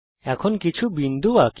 এখন কিছু বিন্দু আঁকি